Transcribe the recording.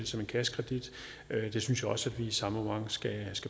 som en kassekredit det synes jeg også at vi i samme moment skal